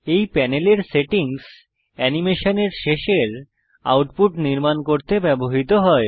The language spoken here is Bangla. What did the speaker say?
এই প্যানেলের সেটিংস অ্যানিমেশনের শেষের আউটপুট নির্মাণ করতে ব্যবহৃত হয়